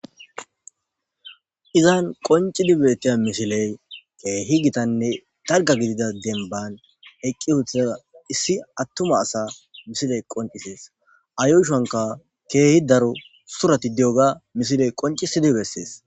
Izan keehi qoncidi betiya misiley keehi gitanne darga gidida demban eqqi uutha issi attuma asa misiley qoncisees .A yushonka keehi daro surati diyoga misiley qoncisidi bessees.